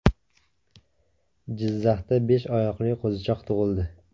Jizzaxda besh oyoqli qo‘zichoq tug‘ildi.